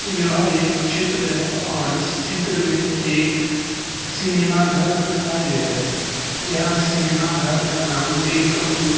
यहाँ एक चित्र है और इस चित्र में एक सिनेमा घर दिखाई दे रहा है यह सिनेमा घर का नाम वेलकम टू --